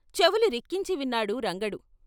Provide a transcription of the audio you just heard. చెవులు రిక్కించి విన్నాడు రంగడు.